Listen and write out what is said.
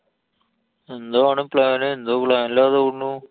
എന്താ മോനെ plan. എന്തോ plan ലാന്നു തോന്നുണൂ.